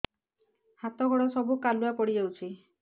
ହାତ ଗୋଡ ସବୁ କାଲୁଆ ପଡି ଯାଉଛି